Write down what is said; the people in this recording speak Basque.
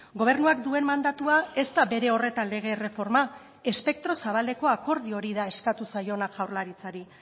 gobernuak duen mandatua ez da bere horretan lege erreforma espektro zabaleko akordio hori da eskatu zaiona jaurlaritzari